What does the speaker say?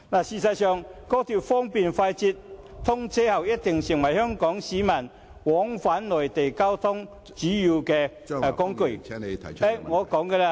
事實上，高鐵方便快捷，通車後定必會成為香港市民往返內地的主要交通工具......